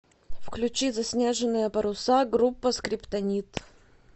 включи заснеженные паруса группа скриптонит